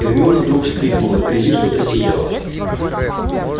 гермиона вдруг вскрикнула впереди что-то сияло